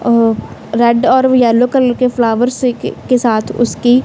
अ red और yellow colour के flowers के साथ उसकी--